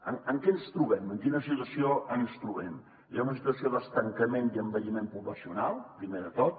amb què ens trobem en quina situació ens trobem hi ha una situació d’estancament i envelliment poblacional primer de tot